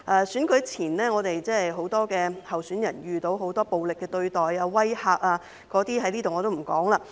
選舉前，很多候選人遇到很多暴力的對待和威嚇，我也不在此細說了。